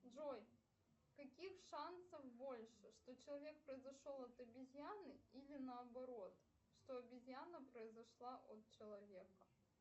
джой каких шансов больше что человек произошел от обезьяны или наоборот что обезьяна произошла от человека